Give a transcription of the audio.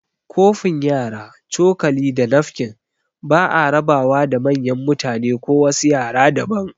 Kofin yara, cokali, da nafkin ba'a raba wa da manyan mutane ko wasu yara daban